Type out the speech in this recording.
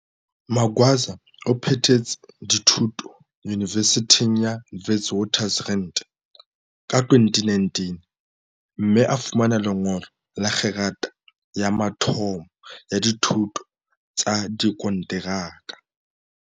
Magwaza o phethetse dithu to Yunivesithing ya Witwaters rand ka 2019, mme a fumana lengolo la kgerata ya mathomo ya dithuto tsa dikonteraka.